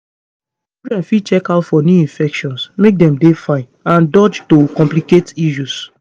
children fit dey check out for new infections make dem dey fine and dodge to complicate issues